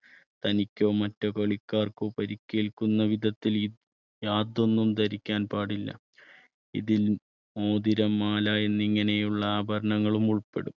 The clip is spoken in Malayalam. തനിക്കോ മറ്റു കളിക്കാർക്കോ പരിക്കേൽക്കുന്ന വിധത്തിൽ യാതൊന്നും ധരിക്കാൻ പാടില്ല ഇതിൽ മോതിരം മാല എന്നിങ്ങനെയുള്ള ആഭരണങ്ങളും ഉൾപ്പെടും.